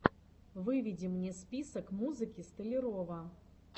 выведи мне список музыки столярова